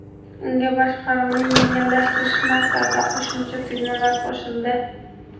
Unga boshqaruvni yengillashtirish maqsadida qo‘shimcha tugmalar qo‘shildi.